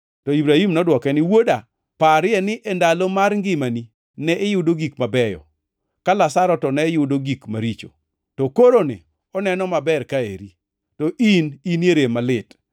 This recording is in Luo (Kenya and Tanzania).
“To Ibrahim nodwoke ni, ‘Wuoda, parie ni e ndalo mar ngimani ne iyudo gik mabeyo, ka Lazaro to ne yudo gik maricho, to koroni oneno maber ka eri, to in inie rem malit.